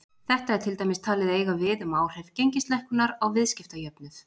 Þetta er til dæmis talið eiga við um áhrif gengislækkunar á viðskiptajöfnuð.